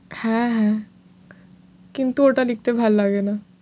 হ্যাঁ হ্যাঁ কিন্তু কিন্তু ওটা লিখতে ভালো লাগে না।